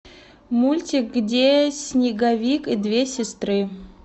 мультик где снеговик и две сестры